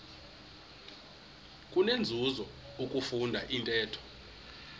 kunenzuzo ukufunda intetho